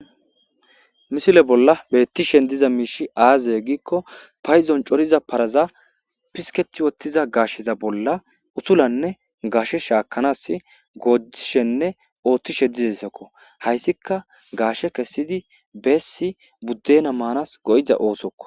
Misile bolla betishe diza mishi aze giko payidoni cooriza paraza pisiketida utida gasheza bolla utulanne gashe shakanasi godishene othishe diza osokohayisika gashe kesidi besi budena mana ossoko